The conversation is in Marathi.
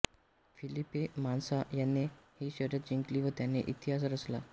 फिलिपे मास्सा याने ही शर्यत जिंकली व त्याने इतिहास रचला